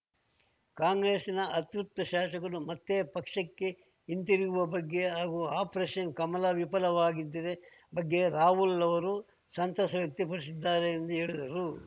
ಕಾಂಗ್ರೆಸ್‌ನ ಅತೃಪ್ತ ಶಾಸಕರು ಮತ್ತೆ ಪಕ್ಷಕ್ಕೆ ಹಿಂತಿರುಗಿರುವ ಬಗ್ಗೆ ಹಾಗೂ ಆಪರೇಷನ್‌ ಕಮಲ ವಿಫಲವಾಗಿದ್ದರೆ ಬಗ್ಗೆ ರಾಹುಲ್‌ ಅವರು ಸಂತಸ ವ್ಯಕ್ತಪಡಿಸಿದ್ದಾರೆ ಎಂದು ಹೇಳಿದರು